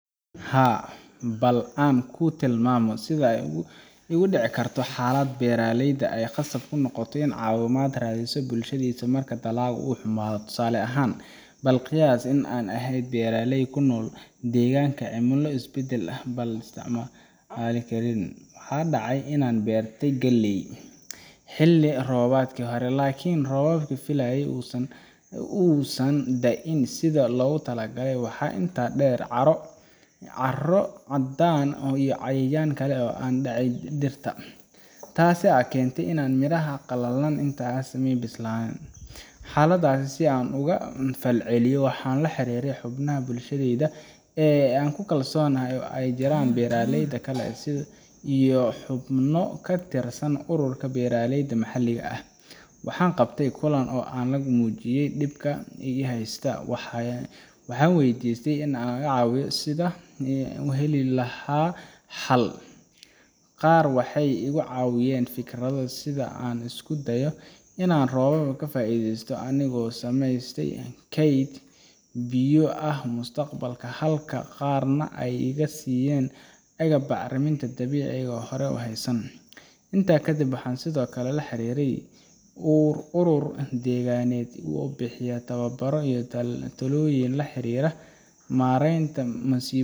Haa, bal aan kuu tilmaamo sida ay u dhici karto xaalad beeraley ah oo ay khasab noqoto in uu caawimo ka raadiyo bulshadiisa marka dalagga uu xumaado. Tusaale ahaan, bal qiyaas in aan ahay beeraley ku nool deegaanka leh cimilo isbeddel badan oo aan la saadaalin karin. Waxaa dhacday in aan beertay galley xilli roobaadkii hore, laakin roobkii la filayey ma uusan da’in sidii loogu talagalay. Waxaa intaa dheer, caaro caddaan ah iyo cayayaan kale ayaa ku dhacay dhirta, taas oo keentay in midhaha ay qalalaan inta aysan bislaan. Xaaladdaas, si aan uga falceliyo, waxaan la xiriiray xubnaha bulshadayda ee aan ku kalsoonahay, oo ay ku jiraan beeraleyda kale iyo xubno ka tirsan ururka beeraleyda maxalliga ah. Waxaan qabtay kulan yar oo aan ku muujiyey dhibka i heystay, waxaana weydiistay in la iga caawiyo sidii aan u heli lahaa xal. Qaar waxay igu caawiyeen fikrado sida in aan isku dayo in aan roobka ka faa’iideysto anigoo samaysta kayd biyo ah mustaqbalka, halka qaarna ay iga siiyeen agab bacrimin dabiici ah oo aan hore u haysan. Intaa kadib, waxaan sidoo kale la xiriiray urur deegaaneed oo bixiya tababarro iyo talooyin la xiriira maareynta masiibooyinka